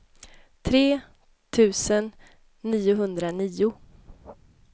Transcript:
tre tusen niohundranio